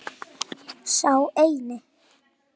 Sá eini.